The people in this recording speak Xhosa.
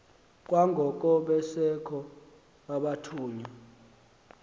kwangoko besekho abathunywa